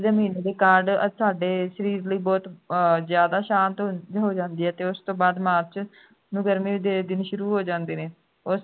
ਮਹੀਨੇ ਦੇ ਕਾਰਨ ਸਾਡੇ ਸਰੀਰ ਲਈ ਬਹੁਤ ਅਹ ਜ਼ਿਆਦਾ ਸ਼ਾਂਤ ਹੋ ਜਾਂਦੀ ਹੈ ਤੇ ਉਸ ਤੋਂ ਬਾਅਦ march ਨੂੰ ਫੇਰ ਨੂੰ ਗਰਮੀ ਦੇ ਦਿਨ ਸ਼ੁਰੂ ਹੋ ਜਾਂਦੇ ਨੇ